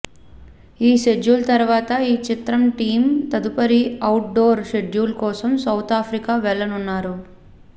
ఈ షెడ్యూల్ తర్వాత ఈ చిత్ర టీం తదుపరి అవుట్ డోర్ షెడ్యూల్ కోసం సౌత్ ఆఫ్రికా వెళ్లనున్నారు